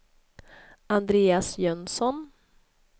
Andreas Jönsson